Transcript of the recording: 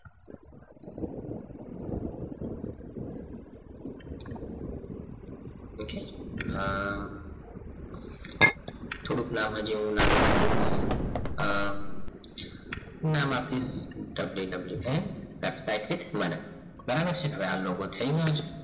okay અમ થોડુંક નામ જેવું નાનું રાખીએ અમ નામ આપીશ wwm paptites manan બરાબર છે ને હવે આ logo થઈ ગયો છે